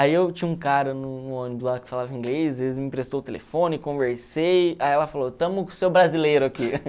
Aí eu tinha um cara no no ônibus lá que falava inglês, ele me emprestou o telefone, conversei, aí ela falou, estamos com o seu brasileiro aqui.